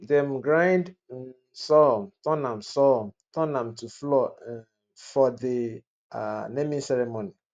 dem grind um surghum turn am surghum turn am to flour um for de um naming ceremony